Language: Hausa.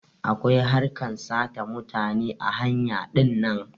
Akwai harkar sata mutane ã hanya dinnan.